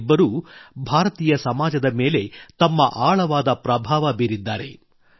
ಇವರಿಬ್ಬರೂ ಭಾರತೀಯ ಸಮಾಜದ ಮೇಲೆ ತಮ್ಮ ಆಳವಾದ ಪ್ರಭಾವ ಬೀರಿದ್ದಾರೆ